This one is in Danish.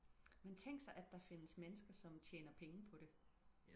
men tænk sig at der findes mennesker som tjener penge på det